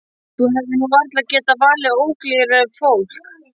Þú hefðir nú varla getað valið ólíklegra fólk.